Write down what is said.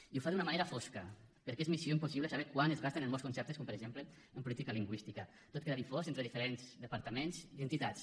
i ho fa d’una manera fosca perquè és missió impossible saber quant es gasten en molts conceptes com per exemple en política lingüística tot queda difós entre diferents departaments i entitats